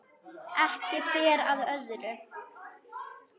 Ekki ber á öðru